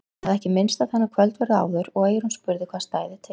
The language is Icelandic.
Hann hafði ekki minnst á þennan kvöldverð áður og eyrún spurði hvað stæði til.